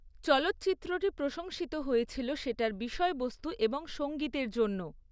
চলচ্চিত্রটি প্রশংসিত হয়েছিল সেটার বিষয়বস্তু এবং সঙ্গীতের জন্য।